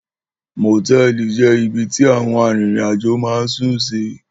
Mòtẹ́ẹ̀lì je ìbí tí àwọn arìnrìn-àjò má ń sún sì.